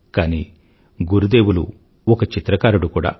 కానీ గురుదేవులు ఒక చిత్రకారుడు కూడా